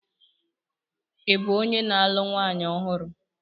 Ị bụ onye na-alụ nwanyị ọhụrụ?